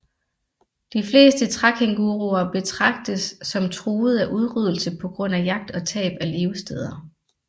De fleste trækænguruer betragtes som truede af udryddelse på grund af jagt og tab af levesteder